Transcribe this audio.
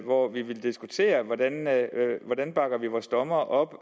hvor vi vil diskutere hvordan vi bakker vores dommere op